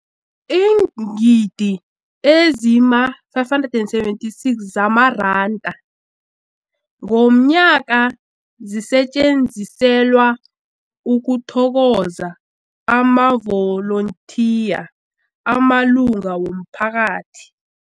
Iingidi ezima-576 zamaranda ngomnyaka zisetjenziselwa ukuthokoza amavolontiya amalunga womphakathi.